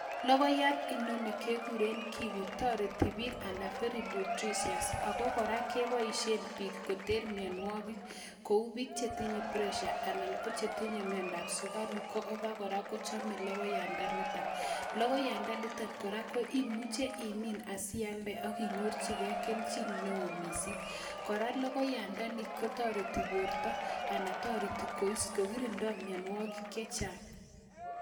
Logoyat inoni kegure kiwi toreti piik anan "very nutritious" ako koraa kepoishe piik koter mionwogik kou piik chetinye pressure anan ko chetinye miondo ab sukaruk ako koraa kochamee logoyanda nitok, logoyanda nitok koraa komuche i'min asialde akinyorchgei keljin neo mising', koraa logoyanda ni ko toreti porto ana toreti kois kogirinda mionwogik chechang'.